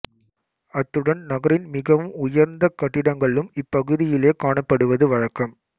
அத்துடன் நகரின் மிகவும் உயர்ந்த கட்டிடங்களும் இப்பகுதியிலேயே காணப்படுவது வழக்கம்